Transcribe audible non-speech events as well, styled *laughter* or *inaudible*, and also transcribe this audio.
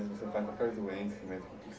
*unintelligible* trata qualquer doença mesmo, o que